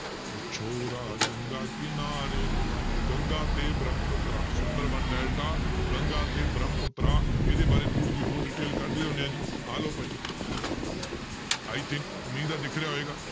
ਉਹ ਛੋਰਾ ਗੰਗਾ ਕਿਨਾਰੇ ਵਾਲਾ, ਗੰਗਾ ਤੇ ਬ੍ਰਹਮਪੁੱਤਰਾ ਸੁੰਦਰਬਨ ਡੈਲਟਾ ਗੰਗਾ ਤੇ ਬ੍ਰਹਮਪੁੱਤਰਾ ਇਹਦੇ ਬਾਰੇ ਥੋੜ੍ਹੀ ਜਿਹੀ ਹੋਰ detail ਕੱਢ ਲਿਉਂਦੇ ਹਾਂ ਜੀ, ਆਹ ਲਓ ਭਾਈ i think ਉਮੀਦ ਹੈ ਦਿਖ ਰਿਹਾ ਹੋਏਗਾ